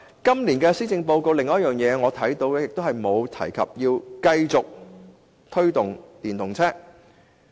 今年的施政報告的另一個問題，是沒有提及推動電動車。